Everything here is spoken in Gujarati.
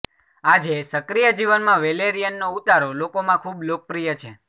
આજે સક્રિય જીવનમાં વેલેરીયનનો ઉતારો લોકોમાં ખૂબ લોકપ્રિય છે